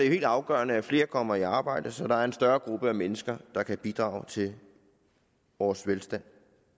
helt afgørende at flere kommer i arbejde så der er en større gruppe af mennesker der kan bidrage til vores velstand